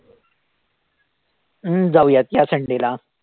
हम्म जाऊयात ह्या sunday ला